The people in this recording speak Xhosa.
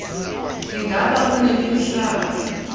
ingaba umnini mhlaba